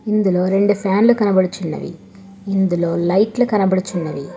ఇందులో రెండు ఫ్యాన్లు కనబడుచున్నవి ఇందులో లైట్లు కనబడుచున్నవి.